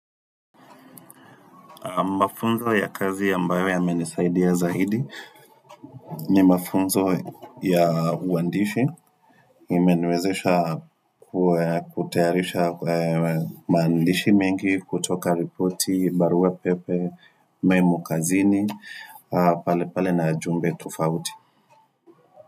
Mafunzo ya kazi ambayo yamenisaidia zaidi ni mafunzo ya uandishi. Imeniwezesha kutayarisha maandishi mengi kutoka ripoti, barua pepe, memo kazini, pale pale na jumbe tofauti.